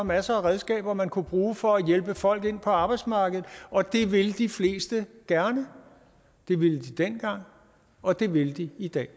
masser af redskaber man kunne bruge for at hjælpe folk ind på arbejdsmarkedet og det vil de fleste gerne det ville de dengang og det vil de i dag